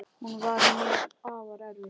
Hún var mér afar erfið.